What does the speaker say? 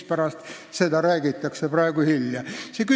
Mispärast seda räägitakse alles praegu, nii hilja?